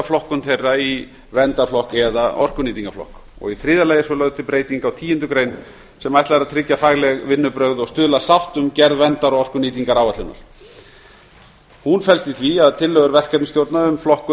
flokkun þeirra í verndarflokk eða orkunýtingarflokks í þriðja lagi er svo lögð til breyting á tíundu greinar sem ætlað er að tryggja fagleg vinnubrögð og stuðla að sátt um gerð verndar og orkunýtingaráætlunar hún felst í því að tillögur verkefnisstjórnar um flokkun